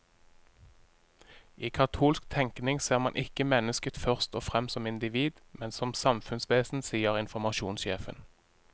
I katolsk tenkning ser man ikke mennesket først og fremst som individ, men som samfunnsvesen, sier informasjonssjefen.